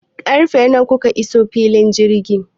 Karfe nawa kuka iso filin jirgin?